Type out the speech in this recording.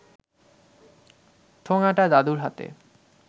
ঠোঙাটা দাদুর হাতে